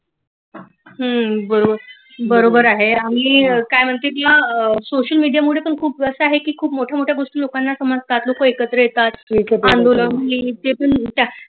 हम्म बरोबर आहे आणि काय म्हणते सोशल‌ मिडिया मुळे पण खुप असं आहे गोष्टी लोकांना समजतात लोक एकत्र येतात आंदोलक तेतून